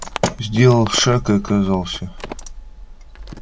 сделал шаг и оказался